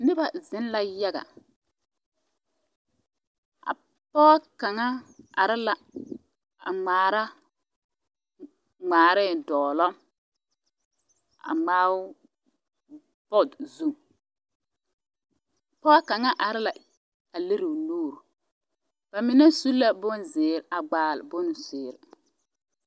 Noba zeŋ la yaga a pɔge kaŋa are la a ŋmaara ŋmaaree dɔglɔ a ŋmaao bɔɔde zu pɔge kaŋa are la a lere o nuuri ba mine su la bonzeere a gbaale bonzeere.